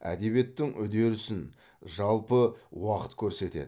әдебиеттің үдерісін жалпы уақыт көрсетеді